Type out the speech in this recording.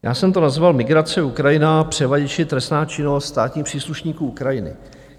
Já jsem to nazval migrace, Ukrajina, převaděči, trestná činnost státních příslušníků Ukrajiny.